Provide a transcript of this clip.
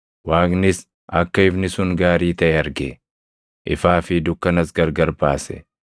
Waaqnis akka ifni sun gaarii taʼe arge; ifaa fi dukkanas gargar baase.